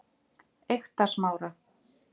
Eyktarsmára